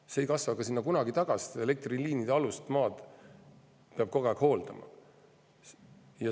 See mets ei kasva sinna ka kunagi tagasi, sest elektriliinide all olevat maad peab kogu aeg hooldama.